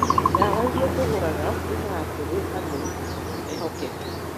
Dawa iria tũgũraga ciumaga kũrĩ andũ ehokeku.